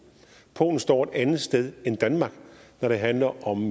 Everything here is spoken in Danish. polen står et andet sted end danmark når det handler om